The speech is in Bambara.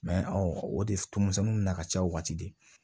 o de tumusɛnnu nana ka ca o wagati de